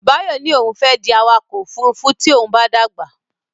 Báyọ̀ ní pé òun fẹ́ di awakọ̀ ófurufú tí òun bá dàgbà.